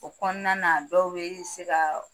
O kɔnɔna na dɔw bɛ se ka